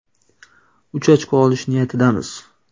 Uch ochko olish niyatidamiz.